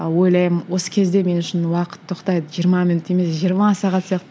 ойлаймын осы кезде мен үшін уақыт тоқтайды жиырма минут емес жиырма сағат сияқты